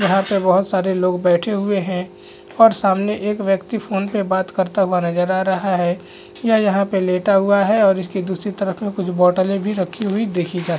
यहाँ पे बोहत सारे लोग बैठे हुए है और सामने एक व्यक्ति फ़ोन पे बात करता हुए नज़र आ रहा है यह यहाँ पर लेटा हुआ है और इसकी दूसरी तरफ में कुछ बॉटले भी रखी देखी जा--